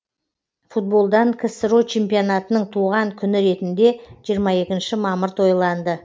футболдан ксро чемпионатының туған күні ретінде жиырма екінші мамыр тойланды